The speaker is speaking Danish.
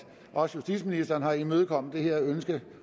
også justitsministeren har imødekommet ønsket